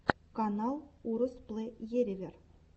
канал уростплэерэвэр